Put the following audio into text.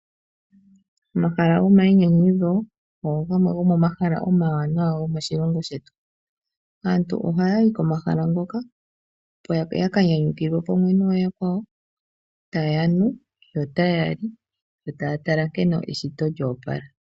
Omahala gomayinyanyudho ogo gamwe gomomahala omawanawa gomoshilongo shetu. Aantu ohaya yi komahala ngoka opo ya ka nyanyukilwe pamwe nooyakwawo taya nu yo otaya li yo taya tala nkene eshito lyo opala.